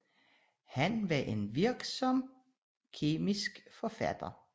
Han var en virksom kemisk forfatter